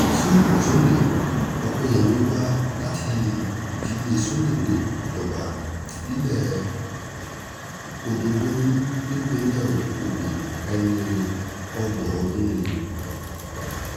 civil sọ̀lẹ ọ̀pẹyẹmi wa láti ìdílé sọ́lé níjọba ìbílẹ̀ ọdọ́gbọ̀lù nípìnlẹ̀ ogun ẹni ọgbọ̀n ọdún ni